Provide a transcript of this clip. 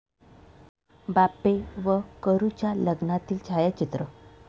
बापे व करुच्या लग्नातील छायाचित्र.